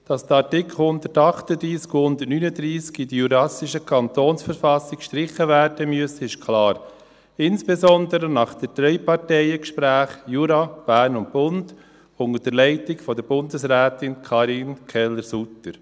Dass die Artikel 138 und 139 aus der jurassischen Kantonsverfassung gestrichen werden müssen, ist klar, insbesondere nach den Dreiparteien-Gesprächen von Jura, Bern und Bund unter der Leitung von Bundesrätin Karin Keller-Suter.